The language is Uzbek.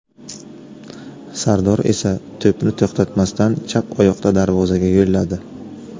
Sardor esa to‘pni to‘xtatmasdan chap oyoqda darvozaga yo‘lladi.